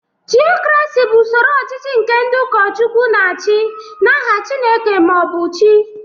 Theocracy bụ usoro ọchịchị nke ndị ụkọchukwu na-achị n'aha Chineke ma ọ bụ chi.